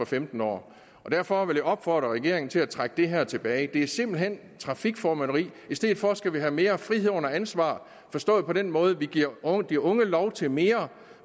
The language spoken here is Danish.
femten år derfor vil jeg opfordre regeringen til at trække det her tilbage det er simpelt hen trafikformynderi i stedet for skal vi have mere frihed under ansvar forstået på den måde at vi giver de unge lov til mere